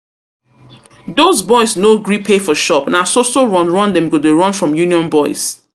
Doz boys no gree pay for shop, na so so run run dem go dey run from union boys